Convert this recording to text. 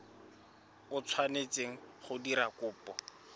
o tshwanetseng go dira kopo